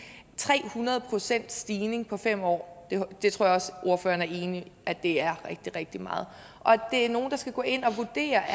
tre hundrede pcts stigning på fem år det tror jeg også ordføreren er enig i er rigtig rigtig meget og det er nogle der skal gå ind og vurdere